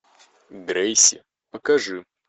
грейси покажи